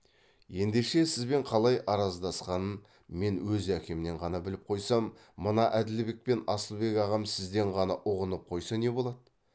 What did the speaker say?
ендеше сізбен қалай араздасқанын мен өз әкемнен ғана біліп қойсам мына әділбек пен асылбек ағам сізден ғана ұғынып қойса не болады